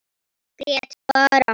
Grét bara.